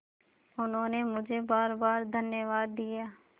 उन्होंने मुझे बारबार धन्यवाद दिया